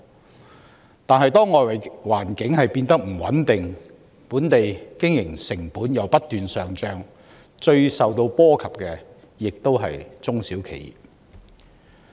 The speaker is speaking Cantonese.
然而，當外圍環境變得不穩定，本地經營成本又不斷上漲，最受影響的同樣是中小企。